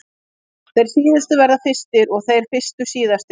Þeir síðustu verða fyrstir og þeir fyrstu síðastir!